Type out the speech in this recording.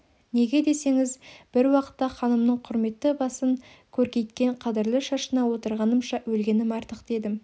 неге десеңіз бір уақытта ханымның құрметті басын көркейткен қадірлі шашына отырғанымша өлгенім артық дедім